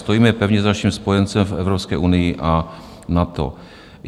Stojíme pevně za naším spojencem v Evropské unii a NATO."